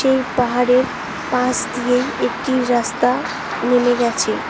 এই পাহাড়ের পাশ দিয়েই একটি রাস্তা নেমে গেছে।